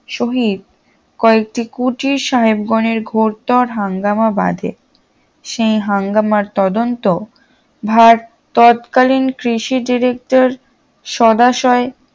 সহিত কয়েকটি কুটির সাহেবগণের ঘোরতর হাঙ্গামা বাঁধে সেই হাঙ্গামার তদন্ত ভার তৎকালীন কৃষি ডিরেক্টর সদাশয়